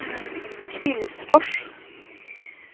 Kvillsfors